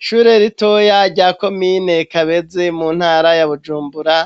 Ishure ritoya rya komine Kabezi mu ntara ya Bujumbura